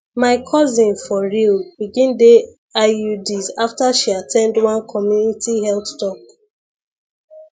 my cousin for real begin dey iuds after she at ten d one community health talk